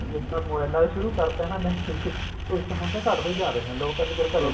ਜਿਸ ਦਿਨ ਦਾ ਮੋਬਾਇਲਾ ਤੇ ਸ਼ੁਰੂ ਕਰਤਾ ਨਾ ਇਹਨਾ ਨੇ ਹੁਣ ਤਾਂ ਘੱਟਦਾ ਹੀ ਜਾ ਰਿਹਾ ਲੋਕ ਕਹਿੰਦੇ ਚਲ